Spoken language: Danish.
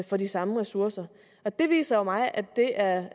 for de samme ressourcer det viser jo for mig at det er